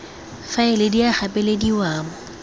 faela di a gapelediwa mo